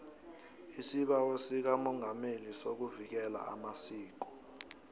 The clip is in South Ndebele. isibawo sikamongameli sokuvikela amasiko